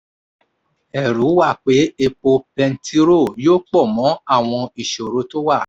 ẹ̀rù wà pé epo bẹntirọ́ yóò pọ̀ mọ́ àwọn ìṣòro tó wà.